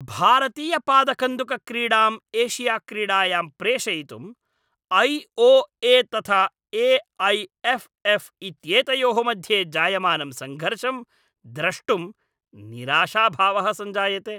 भारतीयपादकन्दुकक्रीडाम् एशियाड्क्रीडायां प्रेषयितुं I O A तथा ए ऐ एफ् एफ़् इत्येतयोः मध्ये जायमानं सङ्घर्षं द्रष्टुं निराशाभावः सञ्जायते।